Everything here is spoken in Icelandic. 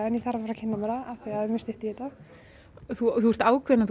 en ég þarf að fara að kynna mér það af því það er mjög stutt í þetta þú ert ákveðin